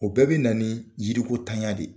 O bɛɛ bɛ na ni yiriko tanya de.